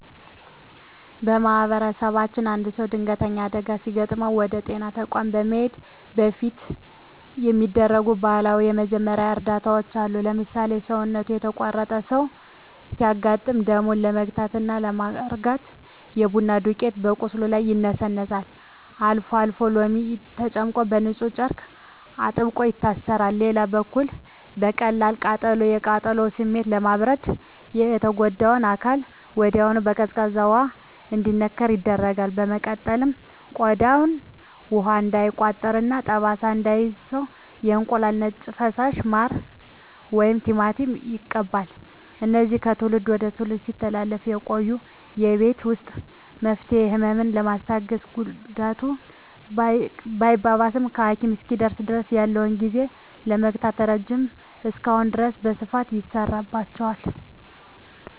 በማኅበረሰባችን አንድ ሰው ድንገተኛ አደጋ ሲገጥመው ወደ ጤና ተቋም ከመሄዱ በፊት የሚደረጉ ባህላዊ የመጀመሪያ እርዳታዎች አሉ። ለምሳሌ፣ ሰውነቱ የተቆረጠ ሰው ሲያጋጥም ደሙን ለመግታትና ለማርጋት የቡና ዱቄት በቁስሉ ላይ ይነሰነሳል፤ አልፎ አልፎም ሎሚ ተጨምቆበት በንፁህ ጨርቅ አጥብቆ ይታሰራል። በሌላ በኩል ለቀላል ቃጠሎ፣ የቃጠሎውን ስሜት ለማብረድ የተጎዳው አካል ወዲያውኑ በቀዝቃዛ ውሃ እንዲነከር ይደረጋል። በመቀጠልም ቆዳው ውሃ እንዳይቋጥርና ጠባሳ እንዳይተው የእንቁላል ነጭ ፈሳሽ፣ ማር ወይም ቲማቲም ይቀባል። እነዚህ ከትውልድ ወደ ትውልድ ሲተላለፉ የቆዩ የቤት ውስጥ መፍትሄዎች፣ ህመምን በማስታገስና ጉዳቱ ሳይባባስ ለሐኪም እስኪደርሱ ድረስ ያለውን ጊዜ በመግዛት ረገድ እስካሁን ድረስ በስፋት ይሠራባቸዋል።